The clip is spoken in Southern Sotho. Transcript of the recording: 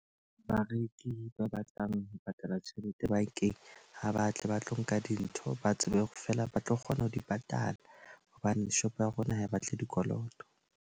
Bareki ba batlang ho patala tjhelete bankeng ha ba tle ba tlo nka dintho. Ba tsebe hore feela ba tlo kgona ho di patala. Hobane shop ya rona ha e batle dikoloto.